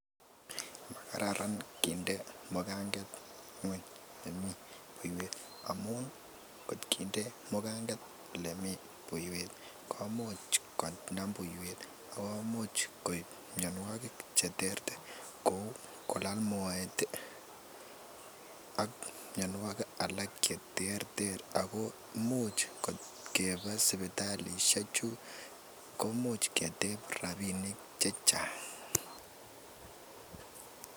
Kararan kinde mugunget yemi buiwet amuun ih inginde mugunget olemi buiwet komuch konam buiwet ak komuche cheterter kouu kolale moet ih ak mianogig alak cheterteren ago imuch keba sipitalisiek chu koimuch keteb chechang